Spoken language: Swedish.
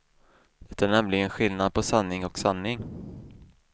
Det är nämligen skillnad på sanning och sanning.